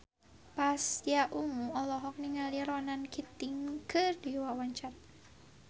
Pasha Ungu olohok ningali Ronan Keating keur diwawancara